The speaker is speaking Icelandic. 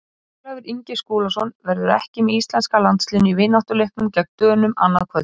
Ólafur Ingi Skúlason verður ekki með íslenska landsliðinu í vináttuleiknum gegn Dönum annað kvöld.